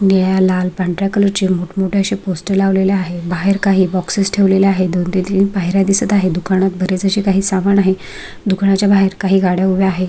निळ्या लाल पांढऱ्या कलर चे मोठ मोठे असे पोस्टर लावलेले आहे बाहेर काही बॉक्सस ठेवलेले आहे दोन ते तीन पायऱ्या दिसत आहेत दुकानात बरेच असे समान आहे दुकाना च्या बाहेर काही गाड्या उभ्या आहे.